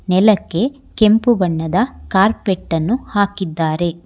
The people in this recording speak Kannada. ನೆಲಕ್ಕೆ ಕೆಂಪು ಬಣ್ಣದ ಕಾರ್ಪೆಟ್ ಅನ್ನು ಹಾಕಿದ್ದಾರೆ.